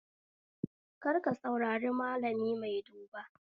Kar ka saurari malami mai duba